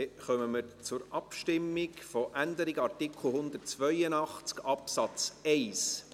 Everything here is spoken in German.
Dann kommen wir zur Abstimmung über die Änderung des Artikels 182 Absatz 1.